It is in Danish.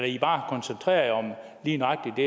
i bare koncentrerer jer om lige nøjagtig